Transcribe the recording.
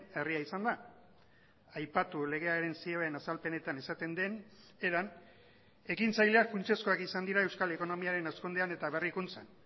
herria izan da aipatu legearen zioen azalpenetan esaten den eran ekintzaileak funtsezkoak izan dira euskal ekonomiaren hazkundean eta berrikuntzan